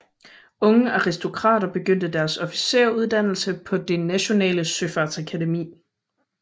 Unge aristokrater begyndte deres officersuddannelse på det nationale søfartsakademi